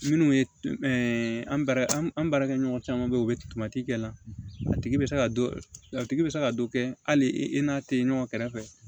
Minnu ye an bɛ an baarakɛ ɲɔgɔn caman be yen u bɛ kɛ la a tigi bɛ se ka dɔ a tigi bɛ se ka dɔ kɛ hali e n'a tɛ ɲɔgɔn kɛrɛfɛ